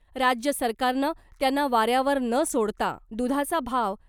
राज्य सरकारनं त्यांना वाऱ्यावर न सोडता दुधाचा भाव .